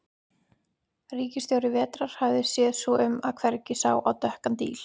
Ríkisstjóri vetrar hafði séð svo um að hvergi sá á dökkan díl.